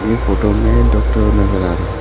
ये फोटो में डॉक्टर नजर आ रहे।